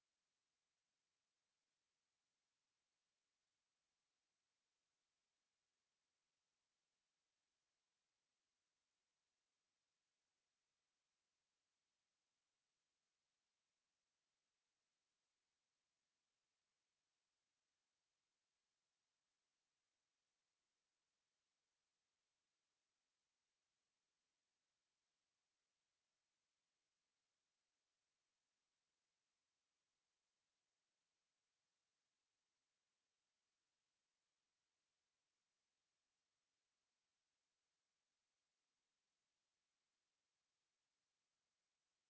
to